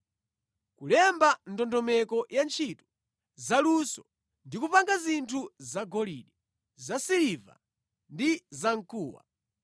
Kulemba ndondomeko ya ntchito zaluso ndi kupanga zinthu zagolide, zasiliva ndi zamkuwa,